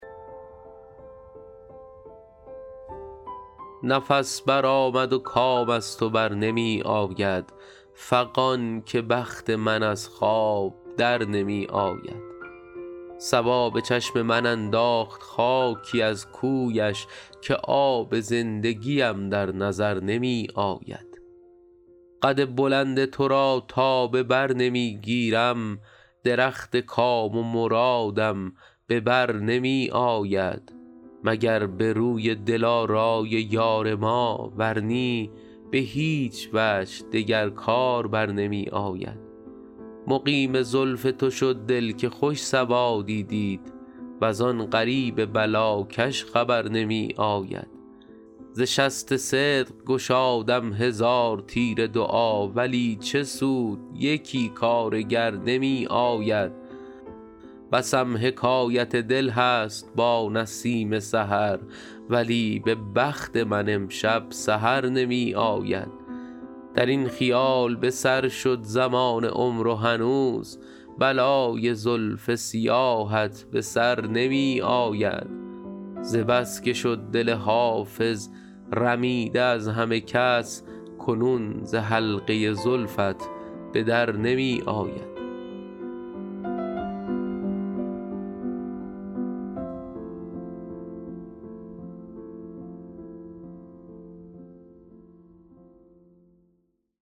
نفس برآمد و کام از تو بر نمی آید فغان که بخت من از خواب در نمی آید صبا به چشم من انداخت خاکی از کویش که آب زندگیم در نظر نمی آید قد بلند تو را تا به بر نمی گیرم درخت کام و مرادم به بر نمی آید مگر به روی دلارای یار ما ور نی به هیچ وجه دگر کار بر نمی آید مقیم زلف تو شد دل که خوش سوادی دید وز آن غریب بلاکش خبر نمی آید ز شست صدق گشادم هزار تیر دعا ولی چه سود یکی کارگر نمی آید بسم حکایت دل هست با نسیم سحر ولی به بخت من امشب سحر نمی آید در این خیال به سر شد زمان عمر و هنوز بلای زلف سیاهت به سر نمی آید ز بس که شد دل حافظ رمیده از همه کس کنون ز حلقه زلفت به در نمی آید